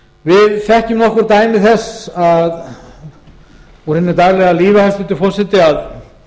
við þekkjum nokkur dæmi þess úr hinu daglega lífi að